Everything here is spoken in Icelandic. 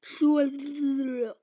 Bráðum verð ég hvítur.